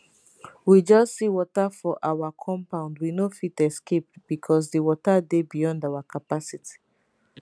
we just see water for our compound we no fit escape becos di water dey beyond our capacity